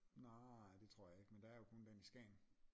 Nej det tror jeg ikke men der er jo kun den i Skagen